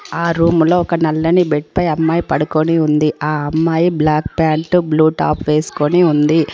ఆ రూములో ఒక నల్లని బెడ్ పై అమ్మాయి పడుకొని ఉంది ఆ అమ్మాయి బ్లాక్ ప్యాంటు బ్లూ టాప్ వేసుకుని ఉంది.